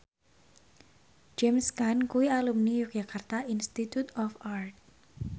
James Caan kuwi alumni Yogyakarta Institute of Art